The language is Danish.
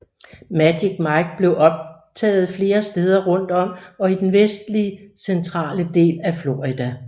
Magic Mike blev optaget flere steder om rundt og i den vestlig centrale del af Florida